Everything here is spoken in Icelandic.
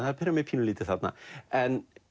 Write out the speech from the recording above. pirrar mig pínulítið þarna en